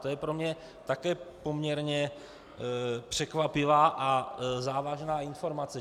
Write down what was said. To je pro mě také poměrně překvapivá a závažná informace.